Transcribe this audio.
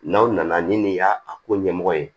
N'aw nana ni nin y'a ko ɲɛmɔgɔ ye